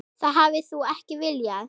Það hafi hún ekki viljað.